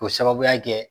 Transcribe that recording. K'o sababuya kɛ